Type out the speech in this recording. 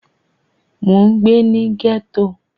Mo n gbé ní gẹ́ẹ́tò